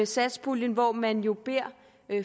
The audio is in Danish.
satspuljen hvor man jo beder